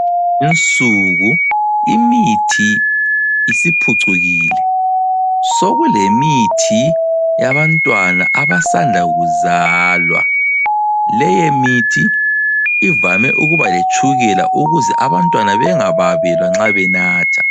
Kulezinsuku, imithi isiphucukile. Sokulemithi yabantwana abasanda kuzalwa. Leyomithi ivame ukuba letshukela ukuze abantwana bengababelwa nxa benatha.